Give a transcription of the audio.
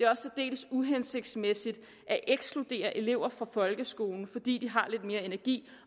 også særdeles uhensigtsmæssigt at ekskludere elever fra folkeskolen fordi de har lidt mere energi